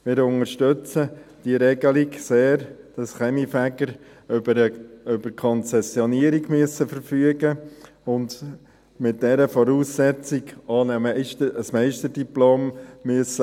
Wir unterstützen die Regelung sehr, dass Kaminfeger über eine Konzessionierung verfügen müssen und mit dieser Voraussetzung auch ein Meisterdiplom haben müssen.